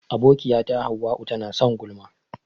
Abokiyata hauwa'u tana son gulma.